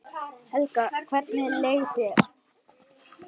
Helga: Hvernig leið þér?